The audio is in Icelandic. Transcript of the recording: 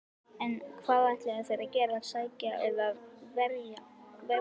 En hvað ætla þeir að gera, sækja eða verjast?